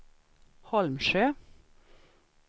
Holmsjö